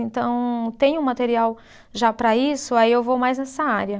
Então, tenho material já para isso, aí eu vou mais nessa área.